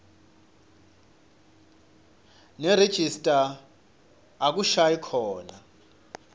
nerejista akushayi khona